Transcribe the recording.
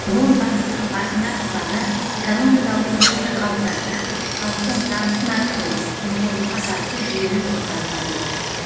он бағыттың басында тұрғаны экономикалық өсімді қалыптастырып халықтың табысын арттыру жемқорлыққа қарсы жүйелі жұмыс атқару